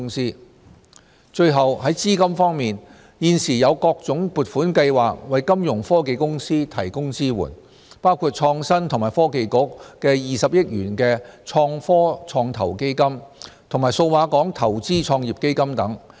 e 資金最後，在資金方面，現時有各種撥款計劃為金融科技公司提供支援，包括創新及科技局的20億元創科創投基金和數碼港投資創業基金等。